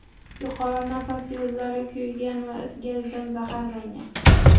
Yuqori nafas yo‘llari kuygan va is gazidan zaharlangan.